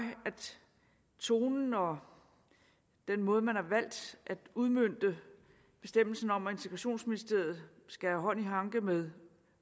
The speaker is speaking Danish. tonen og den måde man har valgt at udmønte bestemmelsen om at integrationsministeriet skal have hånd i hanke med